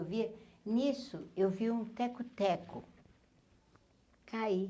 Eu via, nisso, eu vi um teco-teco, cair.